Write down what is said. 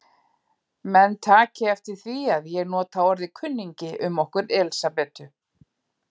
Menn taki eftir því að ég nota orðið kunningi um okkur Elsabetu.